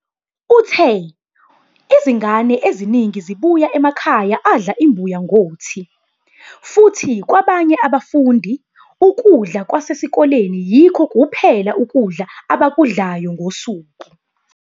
Uthe, "Izingane eziningi zibuya emakhaya adla imbuya ngothi, futhi kwabanye abafundi, ukudla kwasesikoleni yikho kuphela ukudla abakudlayo ngosuku.